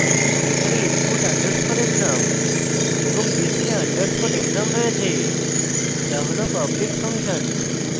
এখানে input underscore exam এবং display underscore exam রয়েছে যা হল public ফাংশন